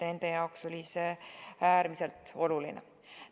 Nende jaoks oli see äärmiselt oluline.